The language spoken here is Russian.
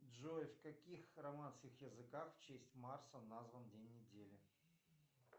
джой в каких романских языках в честь марса назван день недели